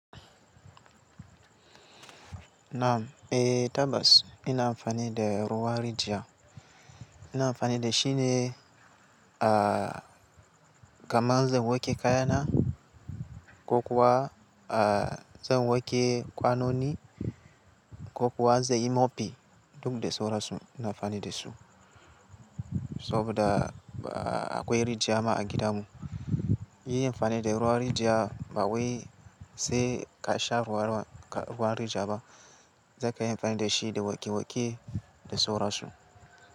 Nam, eh tabbas ina amfani da ruwan rijiya. Ina amfani da shi ne ah kaman zan wanke kayana, ko kuwa ah zan wanke kwanoni, ko kuwa zan yi moɓi, duk da sauransu ina amfani da su. Saboda ba akwai rijiya ma a gidanmu. Yin amfani da ruwan rijiya ba wai sai ka sha ruwan rijiya ba, zaka yi amfani da shi da wake-wake da sauransu.